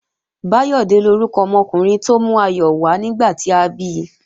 Báyọ̀dé lórúkọ ọmọkùnrin tó mú ayọ̀ wá nígbà tí a bi